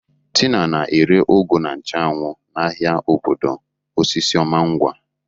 Tina na-ere ugu na nchu anwu n'ahịa obodo osisioma ngwa.